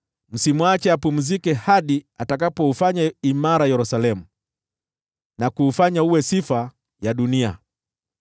msimwache apumzike hadi atakapoufanya imara Yerusalemu na kuufanya uwe sifa ya dunia.